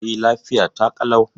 E, lafiya ta ƙalau.